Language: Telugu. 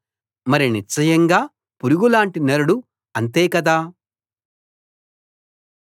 మరి నిశ్చయంగా పురుగుపురుగులాంటి నరుడు అంతే కదా